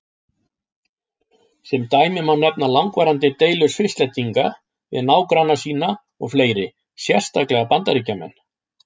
Sem dæmi má nefna langvarandi deilur Svisslendinga við nágranna sína og fleiri, sérstaklega Bandaríkjamenn.